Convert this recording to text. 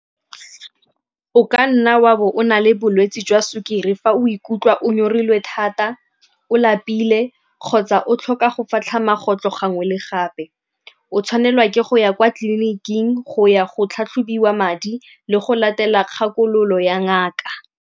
O ka nna wa bo o na le bolwetsi jwa sukiri fa o ikutlwa o nyorilwe thata, o lapile kgotsa o tlhoka go fatlha magotlo gangwe le gape. O tshwanelwa ke go ya kwa tleliniking go ya go tlhatlhobiwa madi le go latela kgakololo ya ngaka.